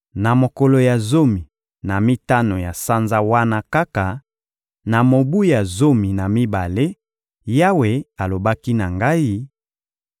Na mokolo ya zomi na mitano ya sanza wana kaka, na mobu ya zomi na mibale, Yawe alobaki na ngai: